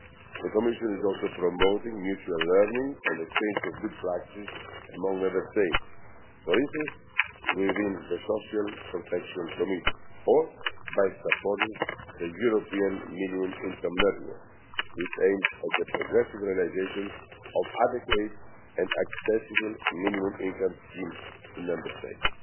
The Commission is also promoting mutual learning and the exchange of good practices among Member States, for instance within the Social Protection Committee, or by supporting the European Minimum Income Network, which aims at the progressive realisation of adequate and accessible minimum income schemes in Member States.